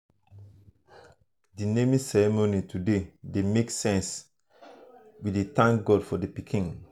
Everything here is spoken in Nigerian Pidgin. the naming ceremony today dey make sense we dey thank god for the pikin.